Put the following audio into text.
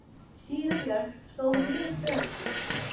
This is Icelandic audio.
Síra Björn stóð við hlið föður síns.